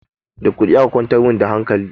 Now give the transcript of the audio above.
Da kuɗi aka kwantar min da hankali